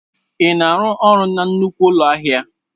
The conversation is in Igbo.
Ị na-arụ ọrụ na nnukwu ụlọ ahịa?